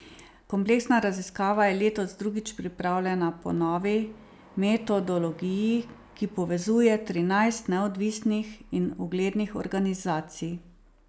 Kompleksna raziskava je letos drugič pripravljena po novi metodologiji, ki povezuje trinajst neodvisnih in uglednih organizacij.